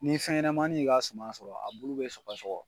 Ni fɛn ɲanamanin y'i ka suma sɔrɔ a bulu bɛ sɔgɔ sɔgɔ.